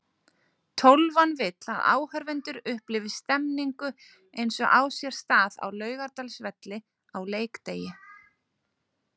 Tólfan vill að áhorfendur upplifi stemningu eins og á sér stað á Laugardalsvelli á leikdegi.